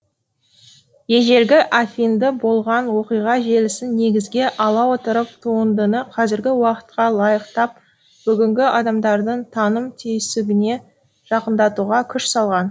ежелгі афиныда болған оқиға желісін негізге ала отырып туындыны қазіргі уақытқа лайықтап бүгінгі адамдардың таным түйсігіне жақындатуға күш салған